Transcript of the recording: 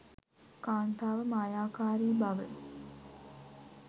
කාන්තාව මායාකාරී බව